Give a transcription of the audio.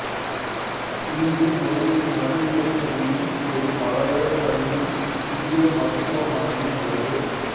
இங்கு ஒரு நடுநிலைப்பள்ளியும் ஒரு மழலையர் பள்ளியும் சிறிய மருத்துவமனையும் உள்ளது